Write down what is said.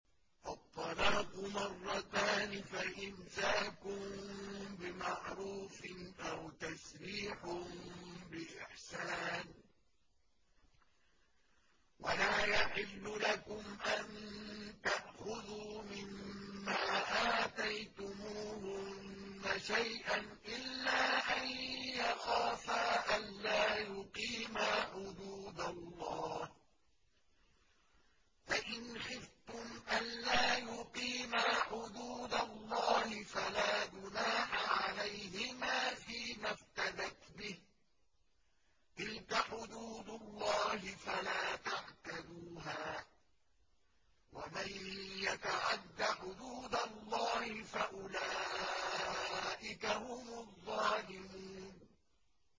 الطَّلَاقُ مَرَّتَانِ ۖ فَإِمْسَاكٌ بِمَعْرُوفٍ أَوْ تَسْرِيحٌ بِإِحْسَانٍ ۗ وَلَا يَحِلُّ لَكُمْ أَن تَأْخُذُوا مِمَّا آتَيْتُمُوهُنَّ شَيْئًا إِلَّا أَن يَخَافَا أَلَّا يُقِيمَا حُدُودَ اللَّهِ ۖ فَإِنْ خِفْتُمْ أَلَّا يُقِيمَا حُدُودَ اللَّهِ فَلَا جُنَاحَ عَلَيْهِمَا فِيمَا افْتَدَتْ بِهِ ۗ تِلْكَ حُدُودُ اللَّهِ فَلَا تَعْتَدُوهَا ۚ وَمَن يَتَعَدَّ حُدُودَ اللَّهِ فَأُولَٰئِكَ هُمُ الظَّالِمُونَ